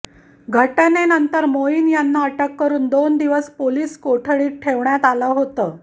घटनेनंतर मोईन यांना अटक करुन दोन दिवस पोलीस कोठडीत ठेवण्यात आलं होतं